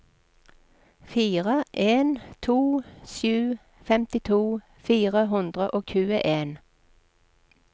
fire en to sju femtito fire hundre og tjueen